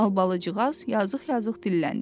Albalıcıqaz yazıq-yazıq dilləndi.